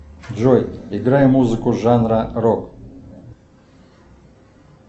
джой играй музыку жанра рок